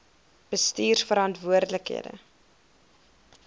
bestuurverantwoordbare